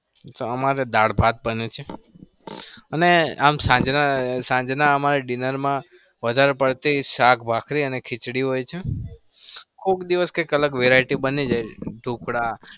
અમારે દાળ ભાત બને છે. અને આમ સાંજના dinner માં વધાર પડતી શાક ભાખરી અને ખીચડી હોય છે. કોક દિવસ કોક અલગ variety બની જાય. ઢોકળા તો